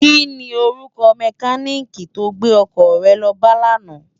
Kini órúkò mèkánikí tó gbé òkò re lò bá làná?